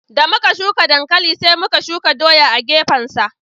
Da muka shuka dankali sai muka shuka doya a gefen sa